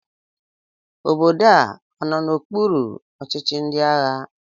Obodo a ọ nọ n'okpuru ọchịchị ndị agha?